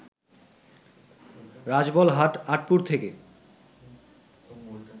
রাজবলহাট, আঁটপুর থেকে